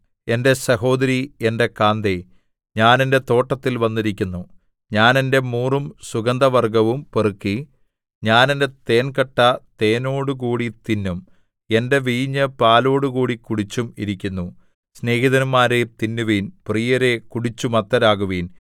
എന്റെ സഹോദരീ എന്റെ കാന്തേ ഞാൻ എന്റെ തോട്ടത്തിൽ വന്നിരിക്കുന്നു ഞാൻ എന്റെ മൂറും സുഗന്ധവർഗ്ഗവും പെറുക്കി ഞാൻ എന്റെ തേൻകട്ട തേനോടുകൂടി തിന്നും എന്റെ വീഞ്ഞ് പാലോടുകൂടി കുടിച്ചും ഇരിക്കുന്നു സ്നേഹിതന്മാരേ തിന്നുവിൻ പ്രിയരേ കുടിച്ചു മത്തരാകുവിൻ